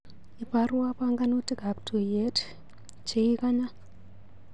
Ibarwa panganutikap tuiyet cheikanya.